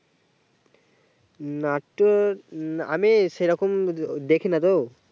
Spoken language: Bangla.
নাটক আমি সেরকম দেখিনা তো